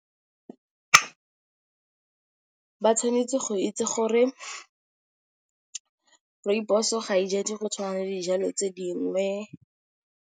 Ba tshwanetse go itse gore rooibos-o ga e jadiwe di go tshwana le dijalo tse dingwe.